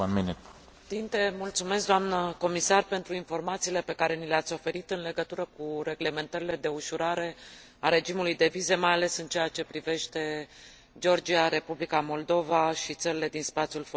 Mulțumesc, doamnă comisar, pentru informațiile pe care ni le ați oferit în legătură cu reglementările de ușurare a regimului de vize, mai ales în ceea ce privește Georgia, Republica Moldova și țările din spațiul fostei Iugoslavii.